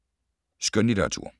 Skønlitteratur